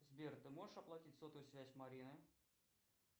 сбер ты можешь оплатить сотовую связь марины